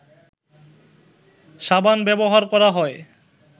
সাবান ব্যবহার করা হয়